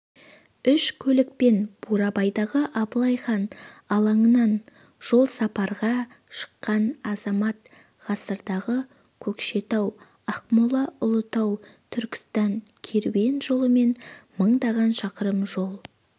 үш көлікпен бурабайдағы абылай хан алаңынан жолсапарға шыққан азамат ғасырдағы көкшетау-ақмола-ұлытау-түркістан керуен жолымен мыңдаған шақырым жол